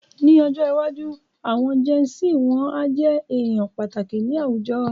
Ní ọjọ́ iwájú, àwọn jẹn sí wọn a jẹ èèyàn pàtàkì ni àwùjọ